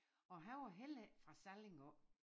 Og han var heller ikke fra Salling af